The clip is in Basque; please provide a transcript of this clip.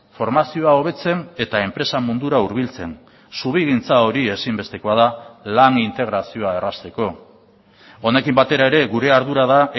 formazioa hobetzen eta enpresa mundura hurbiltzen zubigintza hori ezinbestekoa da lan integrazioa errazteko honekin batera ere gure ardura da